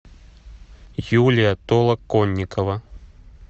юлия толоконникова